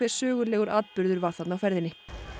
sögulegur atburður var þarna á ferðinni